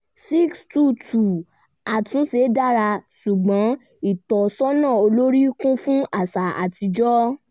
622 àtúnṣe dára ṣùgbọ́n ìtọ́sọ́nà olórí kún fún àṣà atijọ́